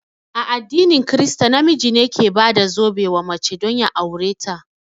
A addinin krista, na miji ne ke bada zobe wa mace don ya aure ta